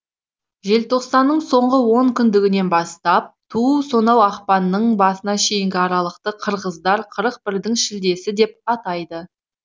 желтоқсанның соңғы онкүндігінен бастап туу сонау ақпанның басына шейінгі аралықты қырғыздар қырық бірдің шілдесі деп атайды